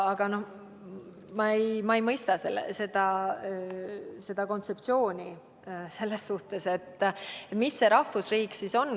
Ma ei mõista seda kontseptsiooni selles suhtes, et mis see rahvusriik siis on.